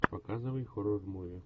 показывай хоррор муви